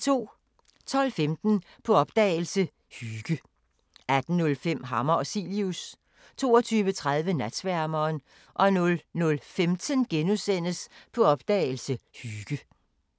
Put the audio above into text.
12:15: På opdagelse – Hygge 18:05: Hammer og Cilius 22:30: Natsværmeren 00:15: På opdagelse – Hygge *